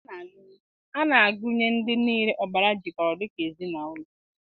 A na-agụnye ndị niile ọbara jikọrọ dị ka ezinụlọ